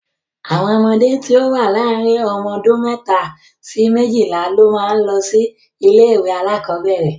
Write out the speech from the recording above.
Àwọn ọmọdé tí ó wà láàrin ọmọ ọdún mẹ́ta sí méjìlá ló máa ń lọ sí ilé-ìwé alákọ̀ọ́bẹ̀ẹ̀rẹ̀.